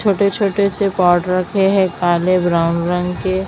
छोटे छोटे से पाउडर रखे है काले ब्राउन रंग के--